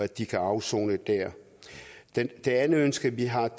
de kan afsone der det det andet ønske vi har er